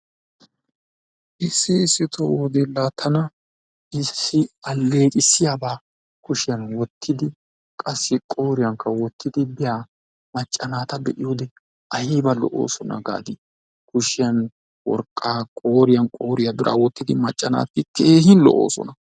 Issi issito wode la tana issi alleeqqissiyaba kushshiyan wottidi qassi qooriyankka wottidi biya macca naata ta be'iyode ayba lo'oosona gaadi kushiya worqqaa qooriyan qooriya biraa wottidi biya macca naati keehi lo'oosona.